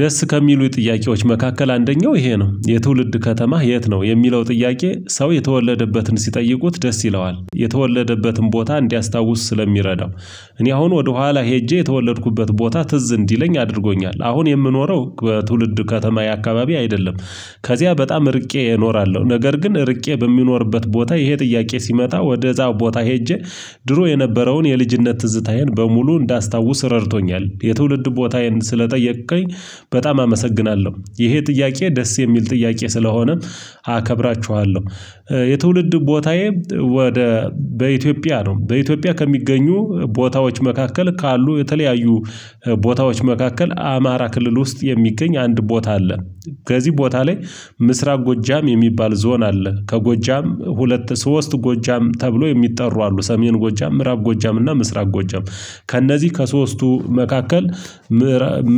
ደስ ከሚሉኝ ጥያቄዎች መካከል አንደኛው ይሄ ነው የትውልድ ከተማህ የት ነው የሚለው ጥያቄ ሰው የተወለደበትን ሲጠይቁት ደስ ይለዋል የተወለደበትን ቦታ እንዲያስታውስ ስለሚረዳው እኔ አሁን ወደኋላ ሄጄ የተወለድኩበት ቦታ ትዝ እንዲለኝ አድርጎኛል አሁን የምኖረው በትውልድ ከተማዬ አካባቢ አይደለም። ከዚያ በጣም ርቄ እኖራለሁ ነገር ግን ርቄ በ ምኖርበት ቦታ ይሄ ጥያቄ ሲመጣ ወደዛው ቦታ ሄጄ ድሮ የነበረውን የልጅነት ትዝታዬን በሙሉ እንዳስታውስ ረድቶኛል። የትውልድ ቦታዬን ስለጠየቅከኝ በጣም አመሰግናለሁ። ይሄ ጥያቄ ደስ የሚል ጥያቄ ስለሆነም አከብራችኋለሁ። የትውልድ ቦታዬ ወደ በኢትዮጵያ ነው። በኢትዮጵያ ከሚገኙ ቦታዎች መካከል ካሉ የተለያዩ ቦታዎች መካከል አማራ ክልል ውስጥ የሚገኝ አንድ ቦታ አለ። ከዚህ ቦታ ላይ ምስራቅ ጎጃም የሚባል ዞን አለ። ከጎጃም ሁለት ሶስት ጎጃም ተብሎ የሚጠሩ አሉ ሰሜን ጎጃም ምዕራብ ጎጃም እና ምስራቅ ጎጃም ከእነዚህ ከሶስቱ መካከል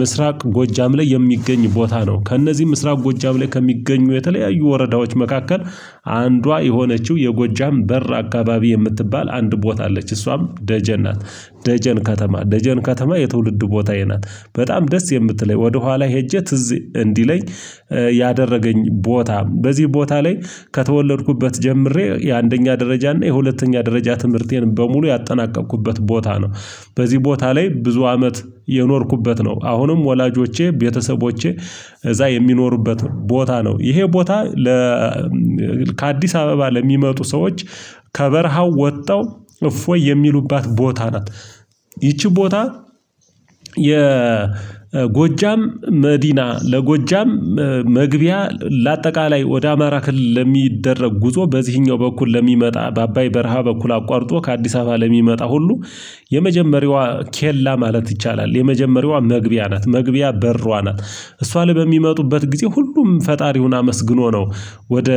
ምስራቅ ጎጃም ላይ የሚገኝ ቦታ ነው። ከእነዚህ ምስራቅ ጎጃም ላይ ከሚገኙ የተለያዩ ወረዳዎች መካከል አንዷ የሆነችው የጎጃም በር አካባቢ የምትባል አንድ ቦታ አለች እሷም ደጀን ናት። ደጀን ከተማ ደጀን ከተማ የትውልድ ቦታዬ ናት። በጣም ደስ የምትለኝ ወደኋላ ሄጄ ትዝ እንዲለኝ ያደረገኝ ቦታም በዚህ ቦታ ላይ ከተወለድኩበት ጀምሬ የአንደኛ ደረጃ እና የሁለተኛ ደረጃ ትምህርቴን በሙሉ ያጠናቀብኩበት ቦታ ነው። በዚህ ቦታ ላይ ብዙ አመት የኖርኩበት ነው። አሁንም ወላጆቼ ቤተሰቦቼ እዛ የሚኖሩበት ቦታ ነው። ይሄ ቦታ ለ ከአዲስ አበባ ለሚመጡ ሰዎች ከበረሃው ወጥተው እፎይ የሚሉባት ቦታ ናት። ይቺ ቦታ የጎጃም መዲና ለጎጃም መግቢያ ለአጠቃላይ ወደ አማራ ክልል ለሚደረግ ጉዞ በዚህኛው በኩል ለሚመጣ በአባይ በረሃ በኩል አቋርጦ ከአዲስ አበባ ለሚመጣ ሁሉ የመጀመሪያዋ ኬላ ማለት ይቻላል የመጀመሪያዋ መግቢያ ናት መግቢያ በሯ ናት። እሷ ላይ በሚመጡበት ጊዜ ሁሉም ፈጣሪውን አመስግኖ ነው ወደ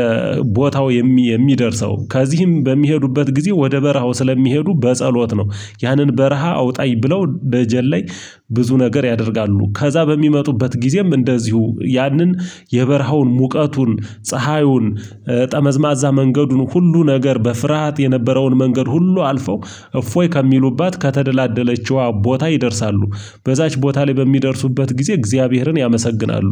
ቦታው የሚደርሰው ከዚህም በሚሄዱበት ጊዜ ወደ በረሃው ስለሚሄዱ በጸሎት ነው። ያንን በረሃ አውጣኝ ብለው ደጀን ላይ ብዙ ነገር ያደርጋሉ ከዛ በሚመጡበት ጊዜም እንደዚሁ ያንን የበረሃውን ሙቀቱን ፀሀዩን ጠመዝማዛ መንገዱን ሁሉ ነገር በፍርሃት የነበረውን መንገድ ሁሉ አልፈው እፎይ ከሚሉባት ከተደላደለችው ቦታ ይደርሳሉ። በዛች ቦታ ላይ በሚደርሱበት ጊዜ እግዚአብሔርን ያመሰግናሉ።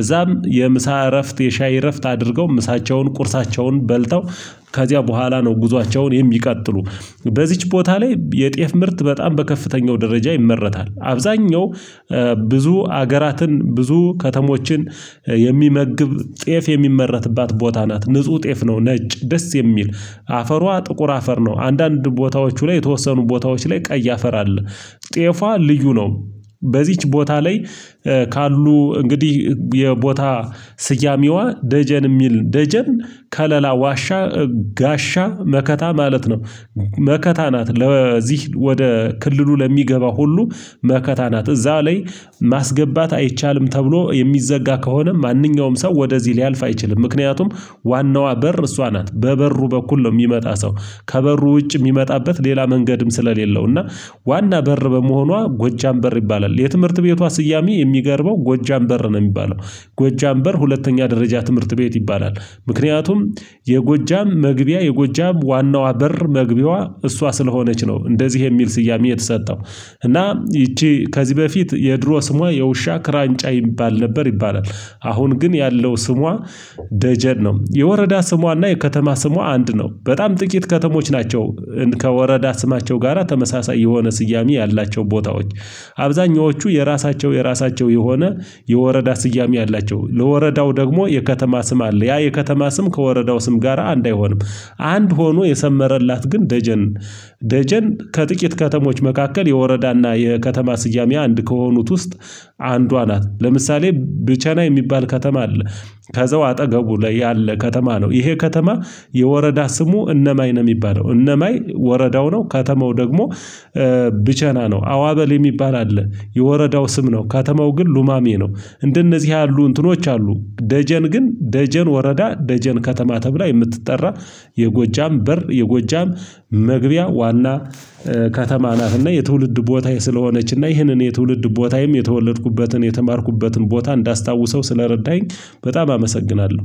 እዛም የምሳ እረፍት የሻይ እረፍት አድርገው ምሳቸውን ቁርሳቸውን በልተው ከዚያ በኋላ ነው ጉዟቸውን የሚቀጥሉ። በዚች ቦታ ላይ የጤፍ ምርት በጣም በከፍተኛው ደረጃ ይመረታል አብዛኛው ብዙ ሀገራትን ብዙ ከተሞችን የሚመግብ ጤፍ የሚመረትባት ቦታ ናት። ንጹህ ጤፍ ነው። ነጭ ደስ የሚል አፈሯ ጥቁር አፈር ነው። አንዳንድ ቦታዎቹ ላይ የተወሰኑ ቦታዎች ላይ ቀይ ያፈራል። ጤፋ ልዩ ነው። በዚች ቦታ ላይ ካሉ እንግዲህ የቦታ ስያሜዋ ደጀን የሚል ደጀን ከለላ ዋሻ ጋሻ መከታ ማለት ነው። መከታ ናት ለዚህ ወደ ክልሉ ለሚገባ ሁሉ መከታ ናት። እዛ ላይ ማስገባት አይቻልም ተብሎ የሚዘጋ ከሆነ ማንኛውም ሰው ወደዚህ ሊያልፍ አይችልም። ምክንያቱም ዋናዋ በር እሷ ናት በበሩ በኩል ነው የሚመጣ ሰው ከበሩ ውጭ የሚመጣበት ሌላ መንገድም ስለሌለው እና ዋና በር በመሆኗ ጎጃም በር ይባላል። የትምህርት ቤቷ ስያሜ የሚገርመው ጎጃም በር ነው። የሚባለው ጎጃም በር ሁለተኛ ደረጃ ትምህርት ቤት ይባላል። ምክንያቱም የጎጃም መግቢያ የጎጃም ዋናዋ በር መግቢዋ እሷ ስለሆነች ነው። እንደዚህ የሚል ስያሜ የተሰጠው። እና ይቺ ከዚህ በፊት የድሮ ስሟ የውሻ ክራንጫ ይባል ነበር ይባላል። አሁን ግን ያለው ስሟ ደጀን ነው። የወረዳ ስሟና የከተማ ስሟ አንድ ነው። በጣም ጥቂት ከተሞች ናቸው። ከወረዳ ስማቸው ጋራ ተመሳሳይ የሆነ ስያሜ ያላቸው ቦታዎች አብዛኞቹ የራሳቸው የራሳቸው የሆነ የወረዳ ስያሜ አላቸው። ለወረዳው ደግሞ የከተማ ስም አለ። ያ የከተማ ስም ከወረዳው ስም ጋራ አንዳይሆንም አንድ ሆኖ የሰመረላት ግን ደጀን። ደጀን ከጥቂት ከተሞች መካከል የወረዳና የከተማ ስያሚ አንድ ከሆኑት ውስጥ አንዷ ናት። ለምሳሌ ብቸና የሚባል ከተማ አለ። ከዛው አጠገቡ ላይ ያለ ከተማ ነው። ይሄ ከተማ የወረዳ ስሙ እነማይ ነው። የሚባለው እነማይ ወረዳው ነው ከተማው ደግሞ ብቸና ነው። አዋበል የሚባል አለ። የወረዳው ስም ነው። ከተማው ግን ሉማሜ ነው። እንደነዚህ ያሉ እንትኖች አሉ። ደጀን ግን ደጀን ወረዳ ደጀን ከተማ ተብላ የምትጠራ የጎጃም በር የጎጃም መግቢያ ዋና ከተማ ናት። እና የትውልድ ቦታ ስለሆነች እና ይህንን የትውልድ ቦታዬም የተወለድኩበትን የተማርኩበትን ቦታ እንዳስታውሰው ስለረዳኝ በጣም አመሰግናለሁ